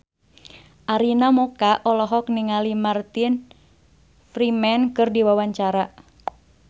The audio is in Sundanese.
Arina Mocca olohok ningali Martin Freeman keur diwawancara